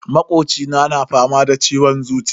Makocina na fama da ciwon zuciya.